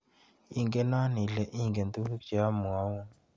Ikeno ile ingen tukuk che amwaun.